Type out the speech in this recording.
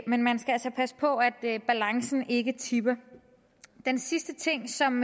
men man skal altså passe på at balancen ikke tipper den sidste ting som